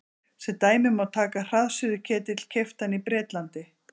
Sem dæmi má taka hraðsuðuketil keyptan í Bretlandi.